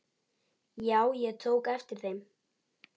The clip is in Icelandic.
Já, ég tók eftir þeim.